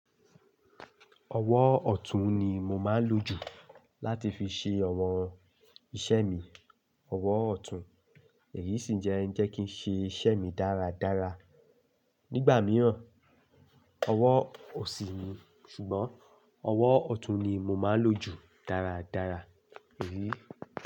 Ọwọ́ ọ̀tún ni mo máa ń lò jù láti fi ṣe àwọn iṣẹ́ mi. Ọwọ́ ọ̀tún èyí sì jẹ ń jẹ́ kí n ṣe iṣẹ́ mi dáradára. Nígbà mìíràn, ọwọ́ òsì ni, ṣùgbọ́n ọwọ́ ọ̀tún ni mo máa ń lò jù dáradára, èyí.